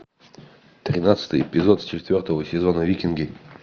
тринадцатый эпизод четвертого сезона викинги